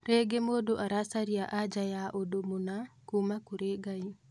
Rĩngĩ mũndũ aracaria anja ya ũndũ mũna kuuma kũrĩ Ngai